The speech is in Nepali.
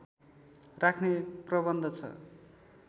राख्ने प्रबन्ध छ